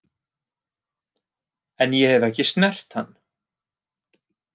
En ég hef ekki snert hann.